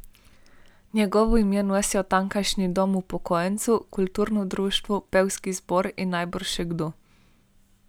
Njegovo ime nosijo tamkajšnji dom upokojencev, kulturno društvo, pevski zbor in najbrž še kdo.